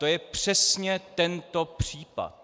To je přesně tento případ.